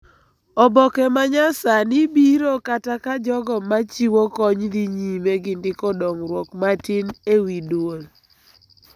Oboke ma nyasani biro kata ka jogo ma chiwo kony dhi nyime gi ndiko dongruok matin e wi dwol